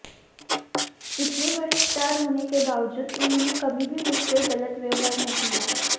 इतने बड़े स्टार होने के बावजूद उन्होंने कभी भी मुझसे गलत व्यवहार नहीं किया